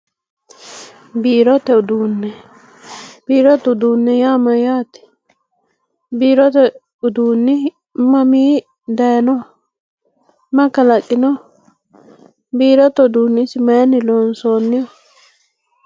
biirote uduunne biirote uduunne yaa mayyate? biirote uduunni mamiinni dayeenoho? maye kalaqinoho? biirote uduunni isi mayeenni loonsoonniho?